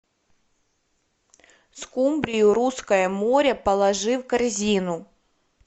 скумбрию русское море положи в корзину